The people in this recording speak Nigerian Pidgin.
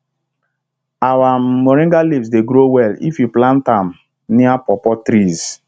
our um moringa leaves dey grow well if you plant um am near pawpaw trees